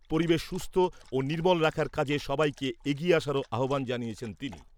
পরিবেশ সুস্থ ও নির্মল রাখার কাজে সবাইকে এগিয়ে আসারও আহ্বান জানিয়েছেন তিনি ।